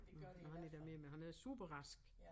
Når han ikke er mere men han er superrask